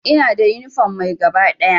Ina da yunifom mai gaba ɗaya.